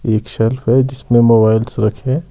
एक शेल्फ है जिसमें मोबाइल्स रखे हैं।